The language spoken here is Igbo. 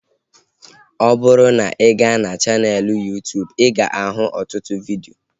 Ọ bụrụ na ị ga na chaneelụ Yuu-tuubu ị ga ahụ ọtụtụ vidio